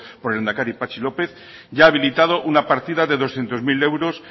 por el lehendakari patxi lópez ya ha habilitado una partida de doscientos mil euros